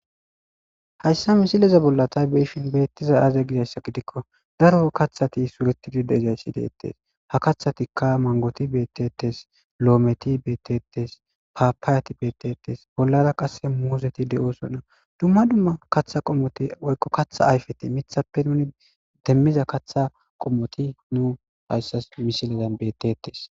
hayssa misileza bolla tay be7ishin beettizay aaze gizayssa gidikko daro kathati suretidi de7izayssi deettes ha kathatikka mangoti beettetes loometi beettetes paapaayati beettetes bollara qasse muuzeti de7oosonna dumma dumma katha qommoti woykko katha ayfetinne mithappe nuni demmiza katha qommoti nu hayssas misilezan bettettes.